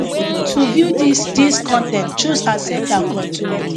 to view dis dis con ten t choose accept and continue